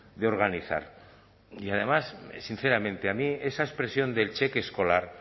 de organizar y además sinceramente a mí esa expresión del cheque escolar